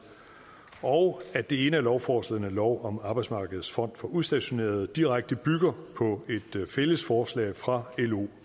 og at det ene af lovforslagene lov om arbejdsmarkedets fond for udstationerede direkte bygger på et fælles forslag fra lo og